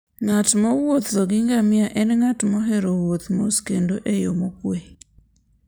Ng'at mowuotho gi ngamia en ng'at mohero wuotho mos kendo e yo mokuwe.